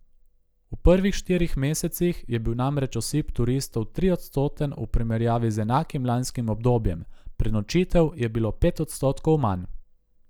V prvih štirih mesecih je bil namreč osip turistov triodstoten v primerjavi z enakim lanskim obdobjem, prenočitev je bilo pet odstotkov manj.